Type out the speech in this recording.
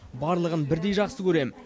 барлығын бірдей жақсы көрем